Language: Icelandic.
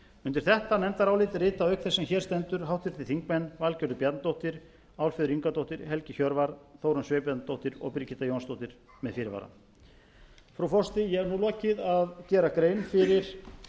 undir þetta nefndarálit rita auk þess sem hér stendur háttvirtir þingmenn valgerður bjarnadóttir álfheiður ingadóttir helgi hjörvar þórunn sveinbjarnardóttir og birgitta jónsdóttir með fyrirvara frú forseti ég hef nú lokið að gera grein fyrir